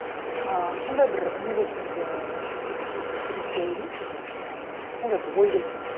ы сондай бір не болды менде ы депрессия емес енді бір сондай бір сондай бір ой келді де